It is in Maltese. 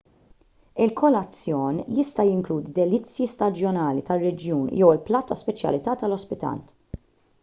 il-kolazzjon jista' jinkludi delizzji staġjonali tar-reġjun jew il-platt ta' speċjalità tal-ospitant